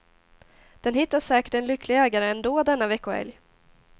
Den hittar säkert en lycklig ägare ändå denna veckohelg.